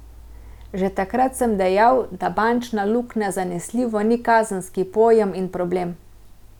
Že takrat sem dejal, da bančna luknja zanesljivo ni kazenski pojem in problem.